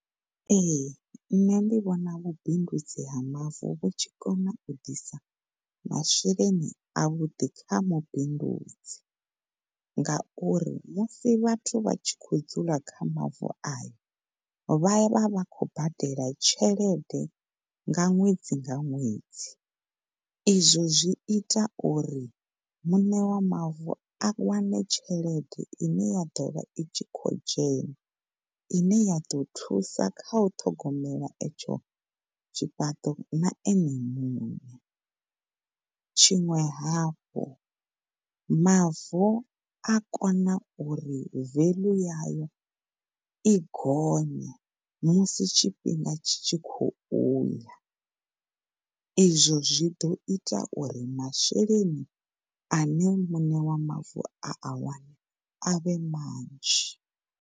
Ehe, ṋne ndi vhona vhubindudzi ha mavu vhu tshikona u ḓisa masheleni avhuḓi kha mubindudzi ngauri musi vhathu vha tshi khou dzula kha mavu aye vha ya vhavha khou badela tshelede nga ṅwedzi nga ṅwedzi izwo zwi ita uri muṋe wa mavu a wane tshelede ine ya ḓovha i tshi khou dzhena, ine ya ḓo thusa kha u ṱhogomela etsho tshifhaṱo na ene muṋe tshiṅwe hafhu mavu a kona uri value yayo i gonye musi tshifhinga tshi tshi khouya ezwo zwi ḓo ita uri dende ine ya dovha tshi khou dzhena masheleni ane muṋe wa mavu a awana a vhe manzhi.